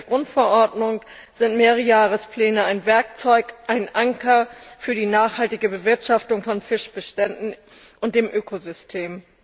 Gemäß der Grundverordnung sind Mehrjahrespläne ein Werkzeug, ein Anker für die nachhaltige Bewirtschaftung von Fischbeständen und dem Ökosystem.